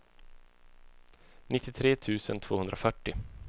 nittiotre tusen tvåhundrafyrtio